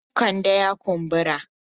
Hannun Kande ya kumbura.